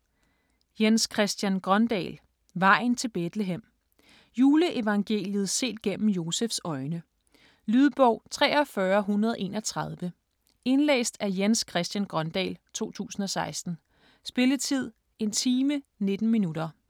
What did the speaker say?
Grøndahl, Jens Christian: Vejen til Betlehem Juleevangeliet set gennem Josefs øjne. Lydbog 43131 Indlæst af Jens Christian Grøndahl, 2016. Spilletid: 1 time, 19 minutter.